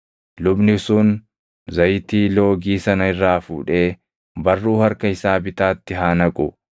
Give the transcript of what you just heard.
Lubni sun zayitii loogii sana irraa fuudhee barruu harka isaa bitaatti haa naqu;